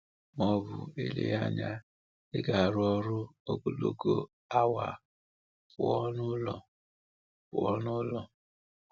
Ma ọ bụ, eleghị anya, ị ga-arụ ọrụ ogologo awa pụọ n’ụlọ? pụọ n’ụlọ?